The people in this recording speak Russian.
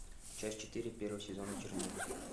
часть четыре первого сезона чернобыль